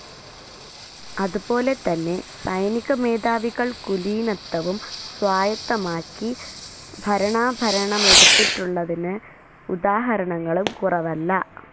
അതുപോലെതന്നെ സൈനികമേധാവികൾ കുലീനത്വവും സ്വായത്തമാക്കി ഭരണാഭരണമെടുത്തിട്ടുളളതിന് ഉദാഹരണങ്ങളും കുറവല്ല.